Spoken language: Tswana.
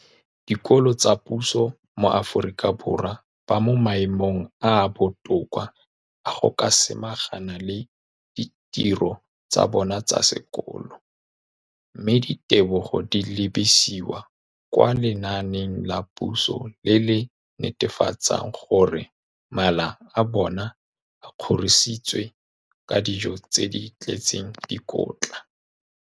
Dikolo tsa puso mo Aforika Borwa ba mo maemong a a botoka a go ka samagana le ditiro tsa bona tsa sekolo, mme ditebogo di lebisiwa kwa lenaaneng la puso le le netefatsang gore mala a bona a kgorisitswe ka dijo tse di tletseng dikotla.